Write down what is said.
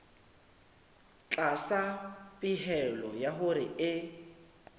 tlasa pehelo ya hore e